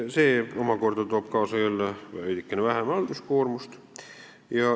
See omakorda toob kaasa jälle veidikene vähem halduskoormust.